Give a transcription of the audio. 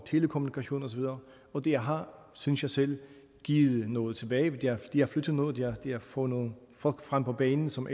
telekommunikation osv og det har synes jeg selv givet noget tilbage det har flyttet noget og det har fået nogle folk frem på banen som